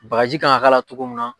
Bagaji kan ka k'a la cogo min na.